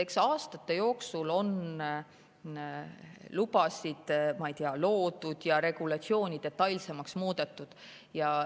Eks aastate jooksul on neid lubasid loodud ja regulatsiooni detailsemaks muudetud.